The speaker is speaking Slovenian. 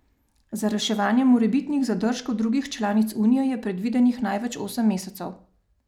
Za reševanje morebitnih zadržkov drugih članic unije je predvidenih največ osem mesecev.